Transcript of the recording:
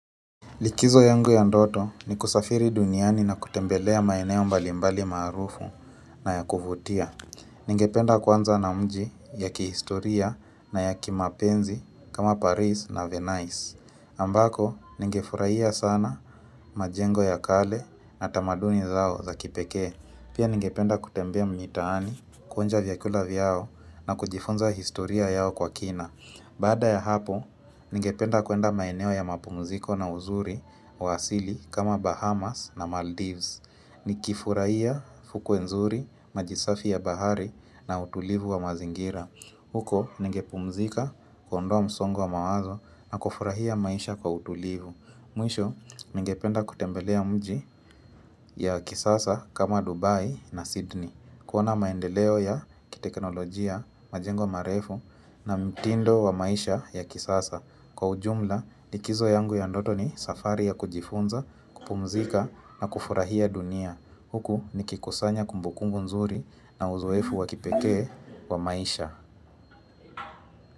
Likizo yangu ya ndoto ni kusafiri duniani na kutembelea maeneo mbalimbali maarufu na ya kuvutia. Ningependa kuanza na mji ya kihistoria na ya kimapenzi kama Paris na Venice. Ambako, ningefurahia sana majengo ya kale na tamaduni zao za kipekee. Pia ningependa kutembea mitaani, kuonja vyakula vyao na kujifunza historia yao kwa kina. Baada ya hapo, ningependa kuenda maeneo ya mapumziko na uzuri wa asili kama Bahamas na Maldives. Nikifurahia fukwe nzuri, maji safi ya bahari na utulivu wa mazingira. Huko, ningepumzika kuondoa msongo wa mawazo na kufurahia maisha kwa utulivu. Mwisho, ningependa kutembelea mji ya kisasa kama Dubai na Sydney. Kuona maendeleo ya kiteknolojia, majengo marefu na mtindo wa maisha ya kisasa. Kwa ujumla, likizo yangu ya ndoto ni safari ya kujifunza, kupumzika na kufurahia dunia. Huku nikikusanya kumbukumbu nzuri na uzoefu wa kipekee wa maisha.